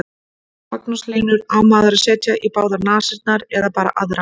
Magnús Hlynur: Á maður að setja í báðar nasirnar eða bara aðra?